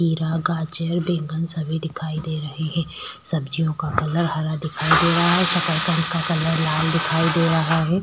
खीरा गाजर बैंगन सभी दिखाई दे रहे है सब्जियों का कलर हरा दिखाई दे रहा है शकरकंद का कलर लाल दिखाई दे रहा है।